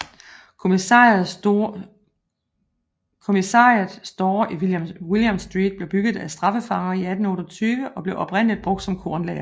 Commissariat Store i William Street blev bygget af straffefanger i 1828 og blev oprindeligt brugt som kornlager